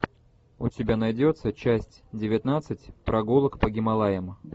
у тебя найдется часть девятнадцать прогулок по гималаям